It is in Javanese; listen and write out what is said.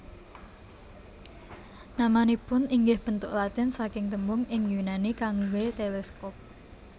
Namanipun inggih bentuk Latin saking tembung ing Yunani kangge teleskop